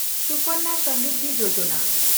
ᱥᱩᱠᱟᱱᱭᱟ ᱥᱚᱢᱮᱱᱰᱤᱫᱷᱤ ᱭᱳᱡᱚᱱᱟ